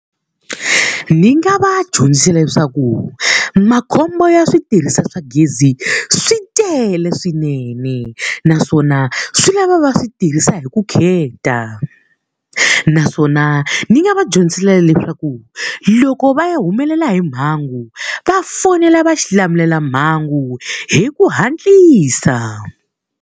Ni nga va dyondzisa leswaku makhombo ya switirhisiwa swa gezi swi tele swinene naswona swi lava va switirhisa hi vukheta. Naswona ni nga va dyondzisa na leswaku loko va ya humelela hi mhangu, va fonela va xilamulelamhangu hi ku hatlisa.